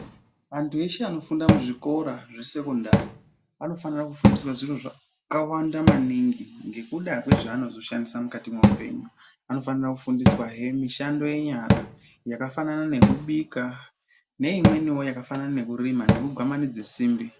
Vantu veshe vanofunga kuzvikora zvekusekendari vanofana kufundiswa zvakawanda maningi nekuda nezvevanozoshandiswa muupenyu yakadai nekurima kubika neyekudai nekugwamanidza simbi neimwe I yenyara